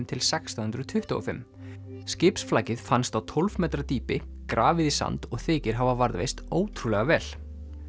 til sextán hundruð tuttugu og fimm fannst á tólf metra dýpi grafið í sand og þykir hafa varðveist ótrúlega vel